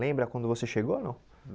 Lembra quando você chegou ou não?